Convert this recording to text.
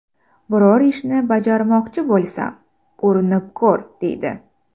Biror ishni bajarmoqchi bo‘lsam, ‘Urinib ko‘r’ deydi.